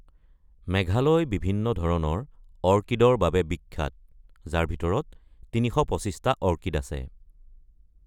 মেঘালয় বিভিন্ন ধৰণৰ অৰ্কিডৰ বাবে বিখ্যাত, যাৰ ভিতৰত ৩২৫টা অৰ্কিড আছে।